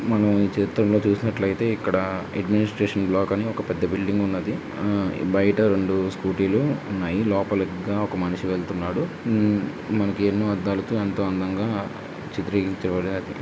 మనం ఈ చిత్రంలో చూసినట్టు అయితే ఇక్కడ ఇగ్నోస్టేషన్ బ్లాక్ అనే ఒక పెద్ద బిల్డింగ్ ఉన్నది. బయట ఉంది. స్కూటీ లో ఉన్నాయి. లోపల ఒక మనిషి లోపలికి వెళ్తున్నాడు. మనకేమో పడుతూ ఎంతో అందంగా చిత్రీకరించారు.